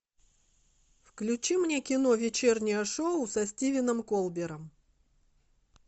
включи мне кино вечернее шоу со стивеном кольбером